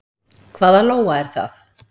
Hvað Lóa er það?